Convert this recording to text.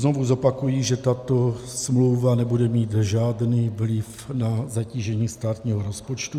Znovu zopakuji, že tato smlouva nebude mít žádný vliv na zatížení státního rozpočtu.